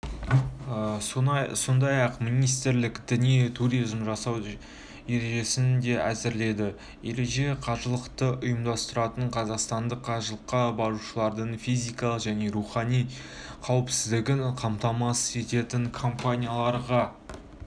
сондай-ақ министрлік діни туризм жасау ережесін де әзірлейді ережеде қажылықты ұйымдастыратын қазақстандық қажылыққа барушылардың физикалық және рухани қауіпсіздігін қамтамасыз ететін компанияларға